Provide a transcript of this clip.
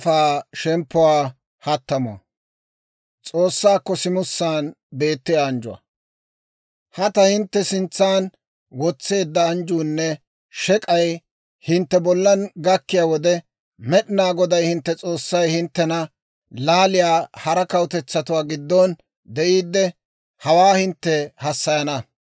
«Ha ta hintte sintsan wotseedda anjjuunne shek'ay hintte bollan gakkiyaa wode, Med'inaa Goday hintte S'oossay hinttena laaliyaa hara kawutetsatuwaa giddon de'iidde, hawaa hintte hassayana.